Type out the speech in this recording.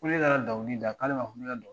Ni ne nana dɔnkili da k'ale ma fɔ ko ne kana dɔn